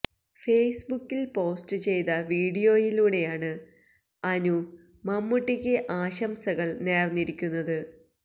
face ബുക്കിൽ post ചെയ്ത വീഡിയോയിലൂടെയാണ് അനു മമ്മൂട്ടിക്ക് ആശംസകള് നേര്ന്നിരിക്കുന്നത്